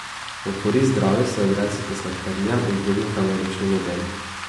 V korist zdravju se odrecite sladkarijam in drugim kaloričnim jedem.